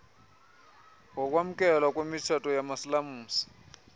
wokwamkelwa kwemitshato yamasilamsi